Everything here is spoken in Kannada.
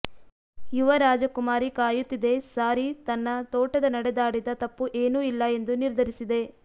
ಯುವ ರಾಜಕುಮಾರಿ ಕಾಯುತ್ತಿದೆ ಸಾರಿ ತನ್ನ ತೋಟದ ನಡೆದಾಡಿದ ತಪ್ಪು ಏನೂ ಇಲ್ಲ ಎಂದು ನಿರ್ಧರಿಸಿದೆ